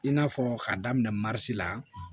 I n'a fɔ k'a daminɛ la